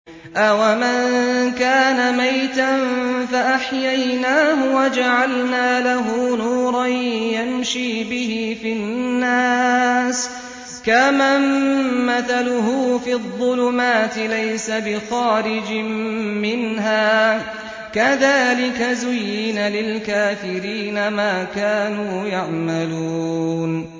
أَوَمَن كَانَ مَيْتًا فَأَحْيَيْنَاهُ وَجَعَلْنَا لَهُ نُورًا يَمْشِي بِهِ فِي النَّاسِ كَمَن مَّثَلُهُ فِي الظُّلُمَاتِ لَيْسَ بِخَارِجٍ مِّنْهَا ۚ كَذَٰلِكَ زُيِّنَ لِلْكَافِرِينَ مَا كَانُوا يَعْمَلُونَ